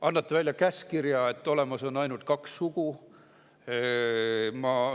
Annate välja käskkirja, et olemas on ainult kaks sugu?